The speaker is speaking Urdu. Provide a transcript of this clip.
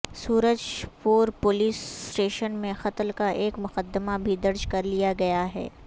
سورج پور پولیس اسٹیشن میں قتل کا ایک مقدمہ بھی درج کرلیاگیاہے